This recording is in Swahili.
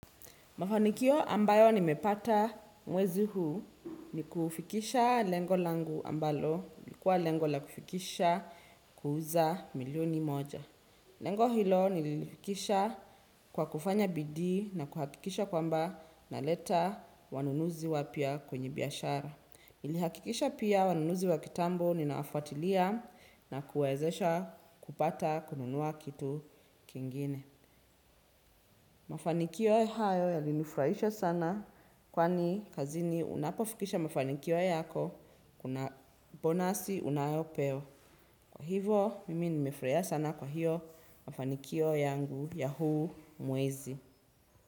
Mafanikio ambayo nimepata mwezi huu ni kufikisha lengo langu ambalo. Ilkua lengola kufikisha kuuza milioni moja. Lengo hilo nilifikisha kwa kufanya bidi na kuhakikisha kwamba naleta wanunuzi wapia kwenye biashara. Nilihakikisha pia wanunuzi wakitambo ninaafatilia na kuwezesha kupata kununua kitu kingine. Mafanikio hayo yalinufraisha sana kwani kazini unapofikisha mafanikio yako kuna bonasi unayopewa. Kwa hivo, mimi nimefraia sana kwa hiyo mafanikio yangu ya huu mwezi.